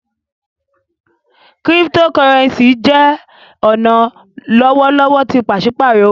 Cryptocurrency jẹ ọna lọwọlọwọ ti paṣipaarọ owo.